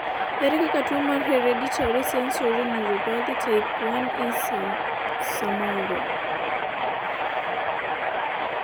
ere kaka tuo mar hereditary sensory neuropathy type 1E samoro